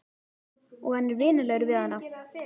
Og hann er vinalegur við hana.